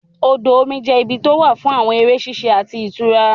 Odò omi jẹ́ ibi tó wà fún àwọn eré ṣíṣe àti ìtura